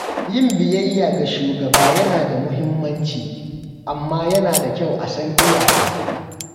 Yin biyayya ga shugaba yana da muhimmanci, amma yana da kyau a san iyaka.